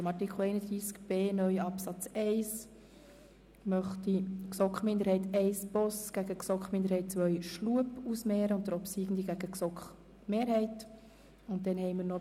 Bei Artikel 31b (neu) Absatz 1 möchte ich die Anträge GSoKMinderheit I/Boss und GSoK-Minderheit II/Schlup einander gegenüberstellen und den obsiegenden Antrag dem Antrag GSoK-Mehrheit gegenüberstellen.